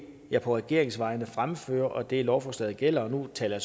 jeg på regeringens vegne fremfører og det lovforslaget gælder og nu taler